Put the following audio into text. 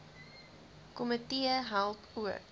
komitee help ook